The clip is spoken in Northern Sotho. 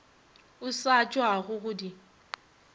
o sa tšwago go di